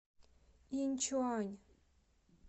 иньчуань